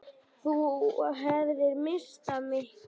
Þú hefðir misst af miklu!